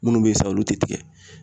Minnu bɛ sa olu tɛ tigɛ